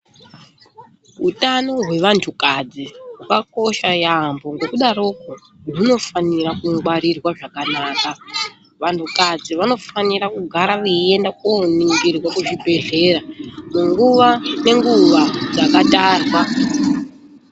Utano hwevantukadzi hwakakosha yaamhpo ngekudarokwo hunofanira kungwarirwa zvakanaka. Vanhukadzi vanofanira kugara veienda koningirwa kuzvibhadhlera nguwa ngenguwa dzakatarwa.